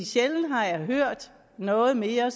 sjældent har jeg hørt noget mere